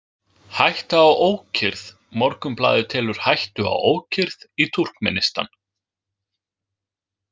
Hætta á ókyrrð Morgunblaðið telur „hættu á ókyrrð“ í Túrkmenistan.